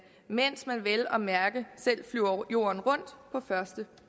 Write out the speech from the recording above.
mens man vel og mærke selv flyver jorden rundt på første